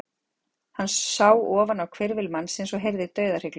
Hann sá ofan á hvirfil mannsins og heyrði dauðahrygluna.